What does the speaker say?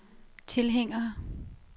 tilhængere